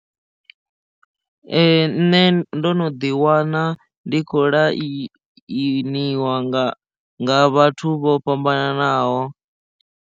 Ee nṋe ndo no ḓi wana ndi kho lainiwa nga nga vhathu vho fhambanaho.